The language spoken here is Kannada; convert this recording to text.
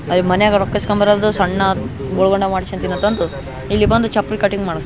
ಅವು ಮನೆಗ ರೊಕ್ಕಾ ಇಸ್ಕೊಂಡ್ ಬರೋದು ಸಣ್ಣ ಗೊಲ್ಗೊಂಡ ಮಾಡ್ಸಕೊಂತಿನ ತಂದು ಇಲ್ಲಿ ಬಂದು ಚಪ್ಲಿ ಕಟಿಂಗ್ ಮಾಡಸ್ --